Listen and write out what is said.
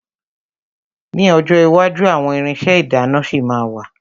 Ní ọjọ́ iwájú àwọn irinṣẹ́ ìdáná ṣì ma wà.